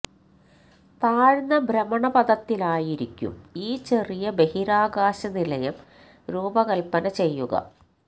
താഴ്ന്ന ഭ്രമണപഥത്തിലായിരിക്കും ഈ ചെറിയ ബഹിരാകാശ നിലയം രൂപകല്പ്പന ചെയ്യുക